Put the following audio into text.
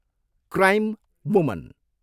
Crime woman.